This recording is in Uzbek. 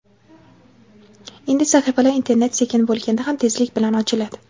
endi sahifalar internet sekin bo‘lganda ham tezlik bilan ochiladi.